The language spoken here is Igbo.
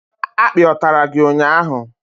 Akpi ọ tàrà gị ụnyaahụ?